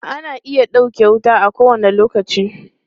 Ana iya ɗauke wuta a kowane lokaci.